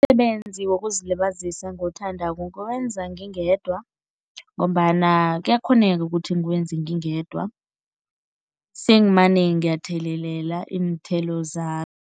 Umsebenzi wokuzilibazisa engiwuthandako ngiwenza ngingedwa ngombana kuyakghoneka ukuthi ngiwenze ngingedwa, sengimane ngiyathelelela iinthelo